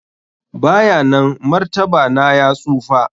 bayanan martaba na ya tsufa.